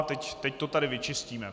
A teď to tady vyčistíme.